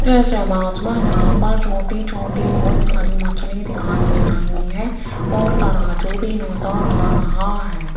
इस इमेज मे यहाँ पर छोटी छोटी बहोत सारी मछली दिखाई दे रही है और तराजू भी नजर आ रहा है।